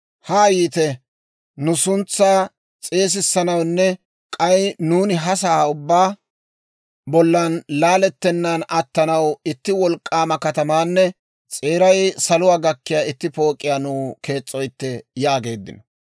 «Haa yiite; nu suntsaa s'eesissanawunne k'ay nuuni ha sa'aa ubbaa bollan laalettennaan attanaw itti wolk'k'aama katamaanne s'eeray saluwaa gakkiyaa itti pook'iyaa nuw kees's'oytte» yaageeddino.